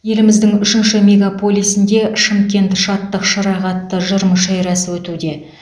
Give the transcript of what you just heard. еліміздің үшінші мегаполисінде шымкент шаттық шырағы атты жыр мүшәйрасы өтуде